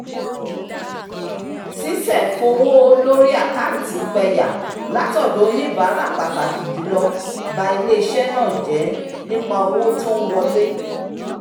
sísẹ̀ fowó lórí àkántì pẹyà látọ̀dọ̀ oníbàárà pàtàkì jùlọ ba ilé-iṣẹ́ náà jẹ nípa owó tó ń wọlé